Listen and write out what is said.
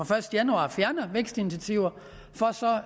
første januar fjerner vækstinitiativer for så